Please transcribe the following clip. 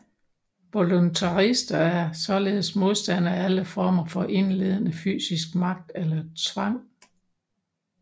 Voluntaryister er således modstandere af alle former for indledende fysisk magt eller tvang